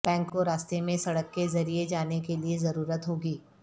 bank کو راستے میں سڑک کے ذریعے جانے کے لئے ضرورت ہو گی